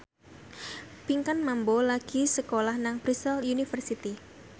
Pinkan Mambo lagi sekolah nang Bristol university